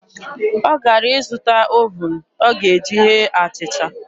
Ọ gara ịzụta ovuun ọ ga-eji ghee achịcha.